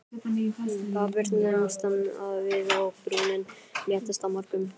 Þá birtumst við og brúnin léttist á mörgum.